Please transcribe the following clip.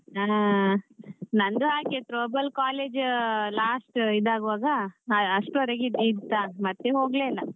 ಹಾ ನಂದು ಹಾಗೆ Throwball college last ಇದಾಗುವಾಗ ಅಷ್ಟರ್ವರಿಗೆ ಇತ್ತಾ ಮತ್ತೆ ಹೋಗ್ಲೇ ಇಲ್ಲ.